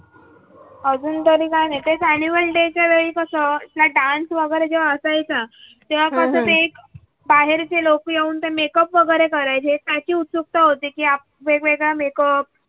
अजूनतरी तरी काही नाही तेच ऍन्युअल डे च्या वेळी कस आपला डान्स वगैरे असायचं. बाहेरचे लोक येऊन ते मेकअप वगैरे करायची आहेत याची उत्सुकता होती की वेग वेगळं मेकअप